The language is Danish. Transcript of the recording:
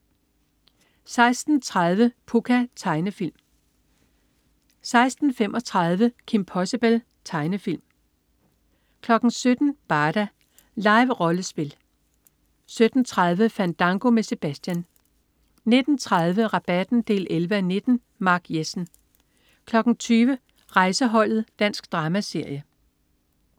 16.30 Pucca. Tegnefilm 16.35 Kim Possible. Tegnefilm 17.00 Barda. Live-rollespil 17.30 Fandango med Sebastian 19.30 Rabatten 11:19. Mark Jessen 20.00 Rejseholdet. Dansk dramaserie